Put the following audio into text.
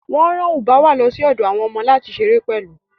Wọ́n rán Ubwa lọ sí ọ̀dọ̀ àwọn ọmọ láti ṣeré pẹ̀lú